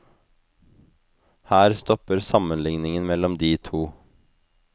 Her stopper sammenligningen mellom de to.